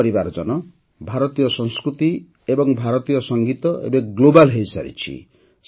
ମୋର ପରିବାରଜନ ଭାରତୀୟ ସଂସ୍କୃତି ଏବଂ ଭାରତୀୟ ସଙ୍ଗୀତ ଏବେ ଗ୍ଲୋବାଲ୍ ହୋଇସାରିଛି